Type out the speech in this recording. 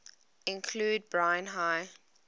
include brine high